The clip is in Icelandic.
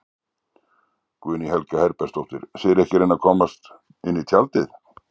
Guðný Helga Herbertsdóttir: Þið eruð ekki að reyna að komast inn í tjaldið?